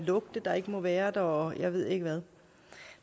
lugte der ikke må være der og jeg ved ikke hvad